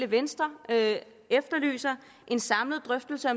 venstre efterlyser en samlet drøftelse